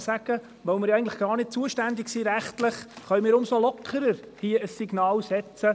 Weil wir rechtlich nicht zuständig sind, können wir umso lockerer ein Signal aussenden.